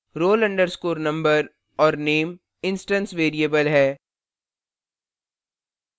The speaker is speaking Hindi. roll _ number और name instance variables है